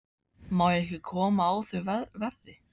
Má ég ekki koma á þau verði?